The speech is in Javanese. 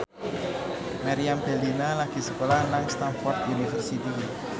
Meriam Bellina lagi sekolah nang Stamford University